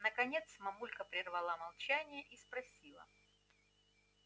наконец мамулька прервала молчание и спросила